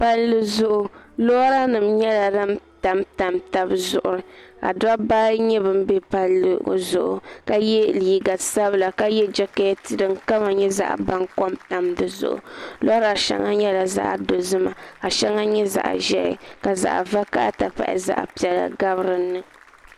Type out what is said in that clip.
palli zuɣu lora nim nyɛla din tamtam palli zuɣu ka lora nim nyɛ din bɛ palli ŋo zuɣu ka yɛ liiga sabila ka yɛ jɛkɛt din kama nyɛ zaɣ baŋkom tam dizuɣu lora shɛli nyɛla zaɣ dozima ka shɛli nyɛ zaɣ ʒiɛhi ka zaɣ vakaɣa ti pahi zaɣ piɛla gabi dinni